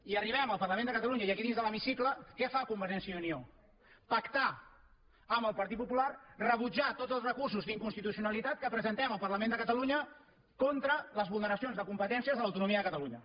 i arribem al parlament de catalunya i aquí dins de l’hemicicle què fa convergència i unió pactar amb el partit popular rebutjar tots els recursos d’inconstitucionalitat que presentem al parlament de catalunya contra les vulneracions de competències de l’autonomia de catalunya